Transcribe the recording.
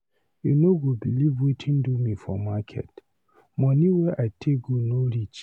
You no go believe wetin do me for market. Money wey I take go no reach.